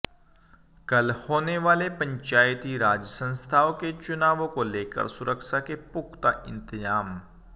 कल होने वाले पंचायती राज संस्थाओं के चुनावों को लेकर सुरक्षा के पुख्ता इंतजाम